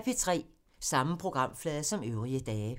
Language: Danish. Samme programflade som øvrige dage